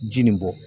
Ji nin bɔ